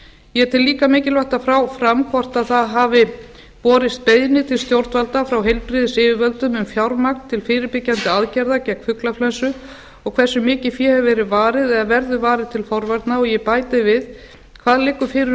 ég tel líka mikilvægt að fá fram hvort það hafi borist beiðnir til stjórnvalda frá heilbrigðisyfirvöldum um fjármagn vegna fyrirbyggjandi aðgerða gegn fuglaflensu og hversu miklu fé hefur verið varið eða verður varið til forvarna og ég bæti við hvað liggur fyrir